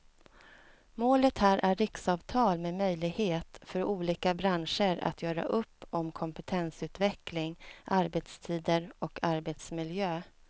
Målet här är riksavtal med möjlighet för olika branscher att göra upp om kompetensutveckling, arbetstider och arbetsmiljö.